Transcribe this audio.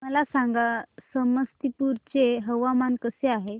मला सांगा समस्तीपुर चे हवामान कसे आहे